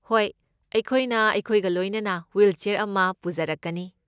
ꯍꯣꯏ, ꯑꯩꯈꯣꯏꯅ ꯑꯩꯈꯣꯏꯒ ꯂꯣꯏꯅꯅ ꯍꯨꯏꯜꯆꯦꯔ ꯑꯃ ꯄꯨꯖꯔꯛꯀꯅꯤ꯫